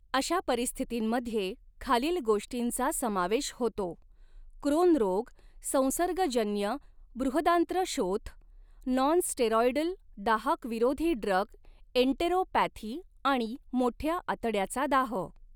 अशा परिस्थितींमध्ये खालील गोष्टींचा समावेश होतो, क्रोन रोग, संसर्गजन्य बृहदांत्रशोथ, नॉनस्टेरॉइडल दाहक विरोधी ड्रग एन्टरोपॅथी आणि मोठ्या आतड्याचा दाह.